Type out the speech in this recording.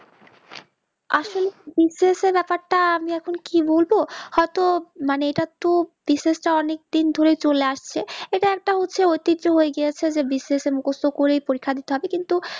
আসলে BCS এর ব্যাপার টা আমি এখন কি বলবো হয় তো মানে এটা টু বিষয় অনিক দিন ধরে চলে আসছে ইটা একটা হচ্ছে অতীতই হয়ে গিয়েছে যে BCS এ মুকস্ত করেই পরীক্ষা দিতে হবে কিন্তু